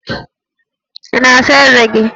Ị na-asa ezé gị?